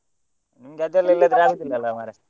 ನಿಮ್ಗೆ ಆಗುದಿಲ್ಲ ಅಲ್ಲ ಮಾರ್ರೆ.